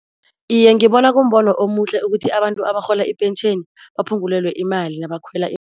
Iye ngibona kumbono omuhle ukuthi abantu abarhola ipentjheni baphungulelwe imali nabakhwela